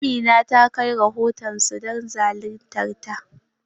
Amina ta kai rahoton su don zaluntar ta.